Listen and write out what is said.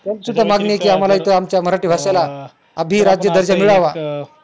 पण सुद्धा मागणी आमच्या मराठी भाषेला अभीर राज्य दर्जा मिळावा